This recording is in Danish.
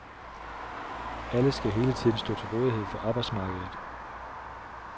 Alle skal hele tiden stå til rådighed for arbejdsmarkedet.